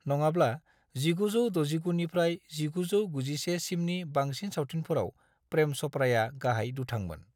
नङाब्ला, 1969 निफ्राय 1991 सिमनि बांसिन सावथुनफोराव प्रेम च'पड़ाया गाहाय दुथांमोन।